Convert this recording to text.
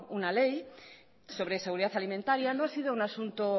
una ley sobre seguridad alimentaria no ha sido un asunto